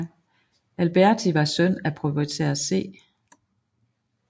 Alberti var søn af proprietær C